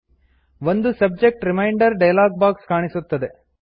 ಒಂದು subject reminder dialog box ಕಾಣಿಸುತ್ತದೆ